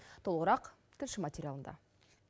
толығырақ тілші материалында